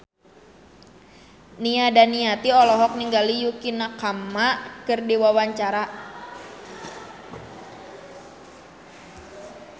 Nia Daniati olohok ningali Yukie Nakama keur diwawancara